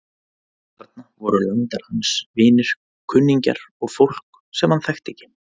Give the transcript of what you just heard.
Þarna voru landar hans, vinir, kunningjar og fólk sem hann þekkti ekki.